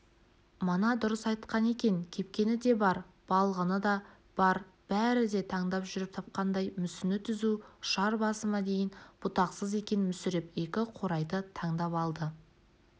мана дұрыс айтқан екен кепкені де бар балғыны да бар бәрі де таңдап жүріп тапқандай мүсіні түзу ұшар басыма дейін бұтақсыз екен мүсіреп екі қурайды таңдап алды